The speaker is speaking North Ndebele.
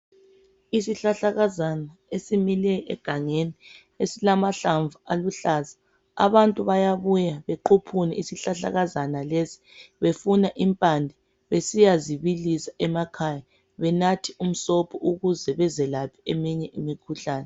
Isihlahlakazana esimile egangeni esilamahlamvu aluhlaza. Abantu bayabuya bequphuna isihlahlakazana lesi befuna impande besiya zibilisa emakhaya benathe umsobho ukuze bezelaphe eminye imikhuhlane.